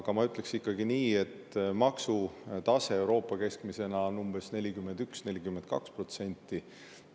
Aga ma ütleks ikkagi nii, et keskmine maksutase Euroopas on umbes 41–42%.